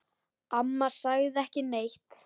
Amma sagði ekki neitt.